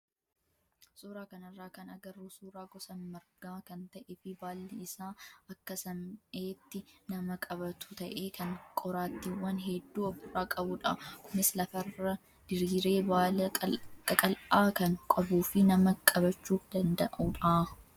Suuraa kanarraa kan agarru suuraa gosa margaa kan ta'ee fi baalli isaa akka saam'eetti nama qabatu ta'ee kan qoraattiiwwan hedduu ofirraa qabudha. Kunis lafarra diriiree baala qaqal'aa kan qabuu fi nama qabachuu danda'udha.